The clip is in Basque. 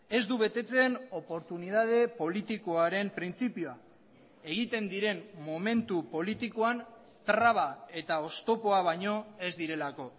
ez du betetzen oportunitate politikoaren printzipioa egiten diren momentu politikoan traba eta oztopoa baino ez direlako